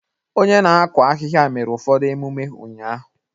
Onye na-akụ ahịhịa mere ụfọdụ emume ụnyahụ.